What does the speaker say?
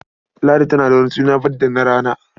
Ladi tana da wani suna banda na rana.